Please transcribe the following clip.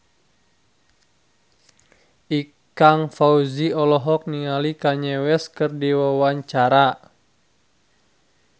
Ikang Fawzi olohok ningali Kanye West keur diwawancara